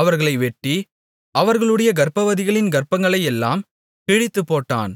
அவர்களை வெட்டி அவர்களுடைய கர்ப்பவதிகளின் கர்ப்பங்களையெல்லாம் கிழித்துப்போட்டான்